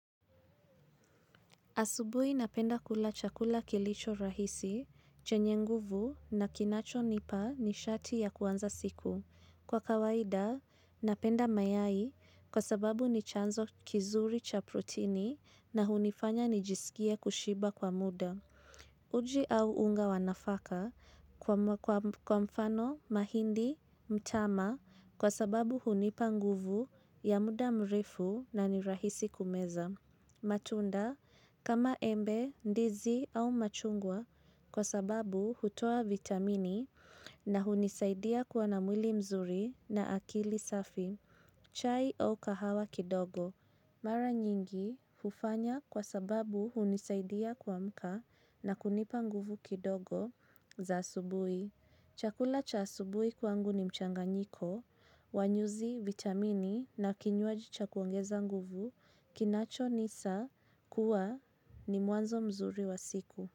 Asubui napenda kula chakula kilicho rahisi, chenye nguvu na kinacho nipa ni shati ya kuanza siku. Kwa kawaida, napenda mayai kwa sababu ni chanzo kizuri cha protini na hunifanya nijisikie kushiba kwa muda. Uji au unga wanafaka kwa mfano mahindi mtama kwa sababu hunipa nguvu ya muda mrefu na ni rahisi kumeza. Matunda kama embe, ndizi au machungwa kwa sababu hutoa vitamini na hunisaidia kuwa na mwili mzuri na akili safi. Chai au kahawa kidogo Mara nyingi hufanya kwa sababu hunisaidia kuamka na kunipa nguvu kidogo za asubui. Chakula cha asubui kwangu ni mchanganyiko, wanyuzi, vitamini na kinywaji cha kuongeza nguvu kinacho nisa kuwa ni muanzo mzuri wa siku.